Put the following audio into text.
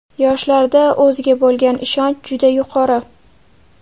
Yoshlarda o‘ziga bo‘lgan ishonch juda yuqori.